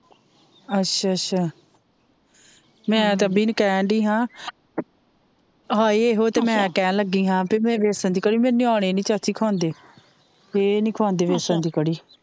ਅੱਛਾ ਅੱਛਾ ਮੈ ਤਾ ਅਭੀ ਨੂੰ ਕਹਿਣਡਿ ਹਾਂ ਹਾਂ ਏਹੋ ਤਾਂ ਮੈ ਕਹਿਣ ਲੱਗੀ ਹਾਂ ਭਈ ਬੈਸਣ ਦੀ ਕੜੀ ਮੇਰੇ ਨਿਆਣੇ ਨੀ ਚਾਚੀ ਖਾਂਦੇ ਫੇਰ ਏ ਨਹੀਂ ਖਾਂਦੇ ਬੈਸਣ ਦੀ ਕੜੀ